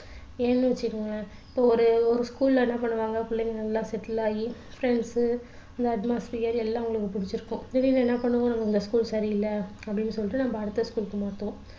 ஏன்னு வச்சிக்கோங்களேன் இப்போ ஒரு ஒரு school அ என்ன பண்ணுவாங்க புள்ளைங்க நல்லா settle ஆகி friends அந்த atmosphere எல்லாம் அவங்களுக்கு பிடிச்சிருக்கும் திடீர்னு என்ன பண்ணுவாங்க அந்த school சரி இல்ல அப்படின்னு சொல்லிட்டு நம்ம அடுத்த school க்கு மாத்துவோம்